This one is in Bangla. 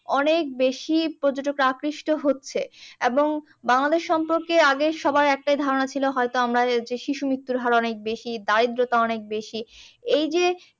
অনেক বেশি পর্যটকরা আকৃষ্ট হচ্ছে এবং বাংলাদেশ সম্পর্কে আগে সবাই একটা ধারণা ছিল, হয়তো আমার যে শিশু মৃত্যুর হার অনেক বেশি, দারিদ্রতা অনেক বেশি, এইযে